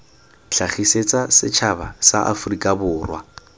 tlhagisetsa setšhaba sa aforika borwa